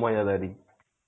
মজাদারি.